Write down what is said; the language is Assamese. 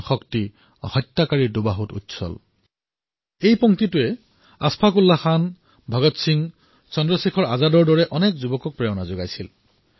এই শাৰীকেইটাই আশাফাক উল্লাহ খান ভগৎ সিং চন্দ্ৰশেখৰ আজাদৰে দৰে তৰুণক প্ৰেৰণা দিছিল